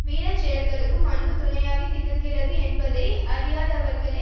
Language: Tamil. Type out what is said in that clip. வீர செயல்களுக்கும் அன்பு துணையாக திகழ்கிறது என்பதை அறியாதவர்களே